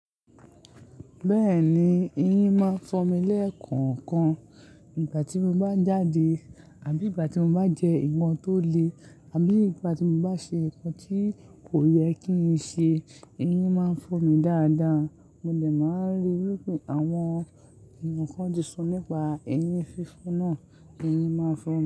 Bẹ́ẹ̀ni, eyín máa ń fọ́ mi lẹ́ẹ̀kọ̀ọ̀kan. Ìgbà tí mo bá jáde àbí ìgbà tí mo bá jẹ́ nnkan tó le àbí ìgbà tí mo bá ṣe nǹkan tí kò yẹ kí n ṣe, eyín máa ń fọ́ mi dáadáa. Mo dẹ̀ máa ń ríi pé àwọn ènìyàn kan ti sọ nípa eyín fífọ́ náà, eyín máa ń fọ́